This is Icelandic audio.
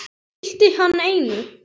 Það gilti hann einu.